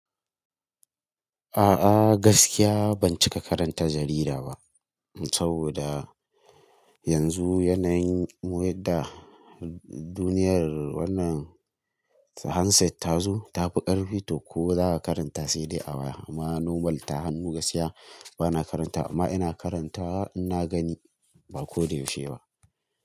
A'a gaskiya ban cika karanta jarida ba saboda yanzu yanayin waya da duniyar wannan handset ta zo tafi ƙarfi to ko za a karanta sai dai a waya amma normal ta hannu gaskiya bana karanta amma ina karanta in na gani ba ko da yaushe ba.